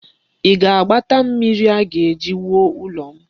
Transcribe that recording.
Ị ga-agbata mmiri a ga-eji wuo ụlọ m?